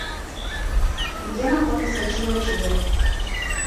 где находится чио чио